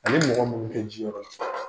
Ale ni mɔgɔ minnu kɛ ji yƆrƆ la